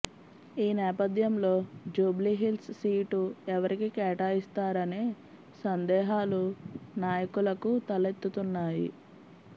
ఈ నేపథ్యంలో జూబ్లిహిల్స్ సీటు ఎవరికి కేటాయిస్తారనే సందేహాలు నా యకులకు తలెత్తుతున్నాయి